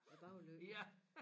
Æ baglygte